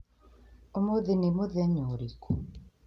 Ũmũthĩ nĩ mũthenya ũrĩkũ?